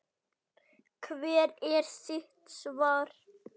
Hvert er þitt svar?